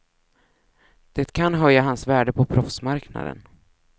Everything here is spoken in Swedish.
Det kan höja hans värde på proffsmarknaden.